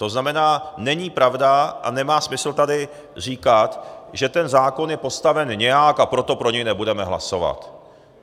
To znamená, není pravda a nemá smysl tady říkat, že ten zákon je postaven nějak, a proto pro něj nebudeme hlasovat.